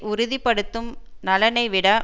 உறுதி படுத்தும் நலனை விட